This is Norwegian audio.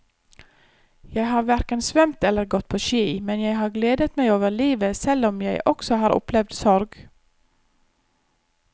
Jeg har hverken svømt eller gått på ski, men jeg har gledet meg over livet selv om jeg også har opplevd sorg.